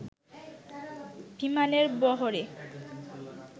বিমানের বহরে